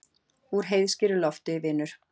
Úr heiðskíru lofti, vinur.